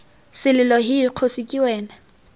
selelo hee kgosi ke wena